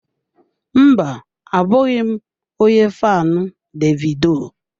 Mba, abụghị m onye faanụ Davido.